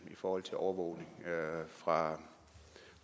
i forhold til overvågning fra